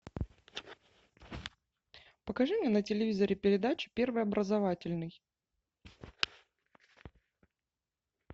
покажи мне на телевизоре передачу первый образовательный